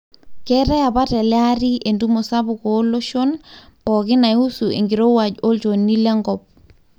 keetae apa tele ari entumo sapuk ooloshon pooki naihusu enkirowuaj olchoni le nkop